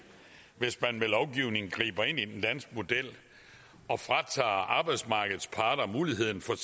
hvis man med lovgivning griber ind i den danske model og fratager arbejdsmarkedets parter muligheden for